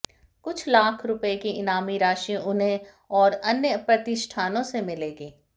कुछ लाख रुपए की इनामी राशि उन्हें और अन्य प्रतिष्ठानों से मिलेगी